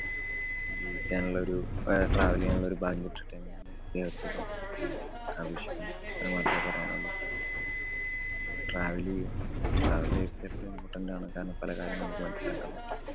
ജീവിക്കാനുള്ള ഒരു travel ചെയ്യാനുള്ളോരു ഭാഗ്യം കിട്ടട്ടെ എന്ന് ഞാന് ദൈവത്തോട് അപേക്ഷിക്കുന്നു. ഇത്ര മാത്രേ പറയാനുള്ളു. അപ്പൊ travel ചെയ്യുക. travel life ല്‍ എപ്പളും important ആണ്. കാരണം പല കാര്യങ്ങളും നമുക്ക് മനസിലാക്കാന്‍ പറ്റും.